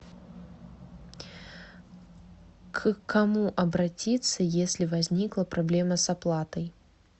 к кому обратиться если возникла проблема с оплатой